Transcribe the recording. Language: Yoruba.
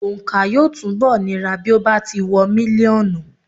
Òǹkà yóò túnbọ̀ nira bí ó bá ti wọ mílíọ̀nù.